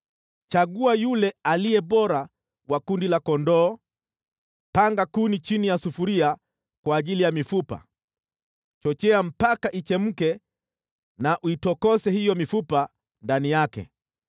chagua yule aliye bora wa kundi la kondoo. Panga kuni chini ya sufuria kwa ajili ya mifupa; chochea mpaka ichemke na uitokose hiyo mifupa ndani yake.